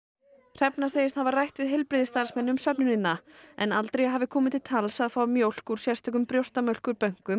hrefna segist hafa rætt við heilbrigðisstarfsmenn um söfnunina en aldrei hafi komið til tals að fá mjólk úr sérstökum